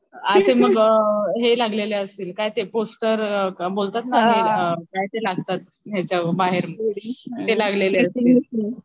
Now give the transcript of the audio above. असे मग हे लागलेले असतील काय ते पोस्टर बोलतात ना अअ काय ते लागतात याच्यावर बाहेर ते लागलेले असतील.